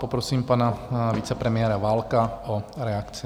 Poprosím pana vicepremiéra Válka o reakci.